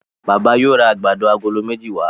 Bàbá yóò rá àgbàdo Àgòló méjì wa.